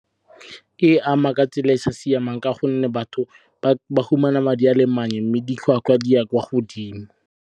E ama ka tsela e sa siamang ka gonne batho ba fumana madi a le mannye mme ditlhotlhwa di ya kwa godimo.